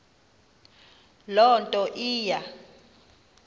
loo nto iya